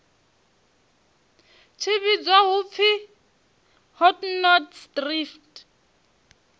tshi vhidzwa u pfi hotnotsdrift